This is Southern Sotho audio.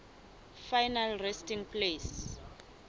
final resting place